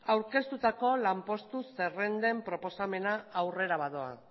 aurkeztutako lanpostu zerrenden proposamena aurrera badoa